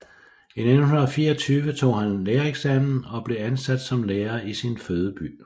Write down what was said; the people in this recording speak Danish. I 1924 tog han lærereksamen og blev ansat som lærer i sin fødeby